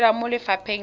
o dira mo lefapheng la